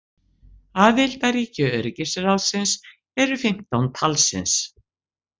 Aðildarríki öryggisráðsins eru fimmtán talsins.